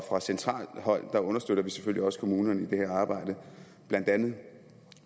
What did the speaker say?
fra centralt hold understøtter vi selvfølgelig også kommunerne i det her arbejde blandt andet